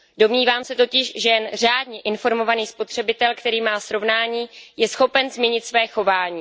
Domnívám se totiž, že jen řádně informovaný spotřebitel, který má srovnání, je schopen změnit své chování.